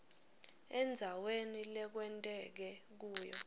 endzaweni lekwenteke kuyo